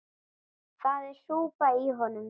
Það er súpa í honum.